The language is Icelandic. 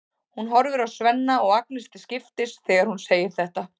Hún horfir á Svenna og Agnesi til skiptis þegar hún segir þetta.